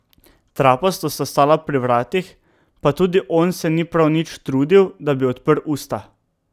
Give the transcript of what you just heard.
Trapasto sta stala pri vratih, pa tudi on se ni prav nič trudil, da bi odprl usta.